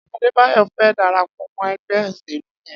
Adebayo fè dàrápọ̀ mọ ẹgbẹ óṣélú yèn